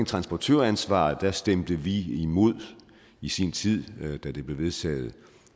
transportøransvaret stemte vi imod det i sin tid da det blev vedtaget